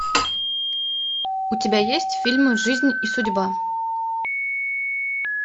у тебя есть фильм жизнь и судьба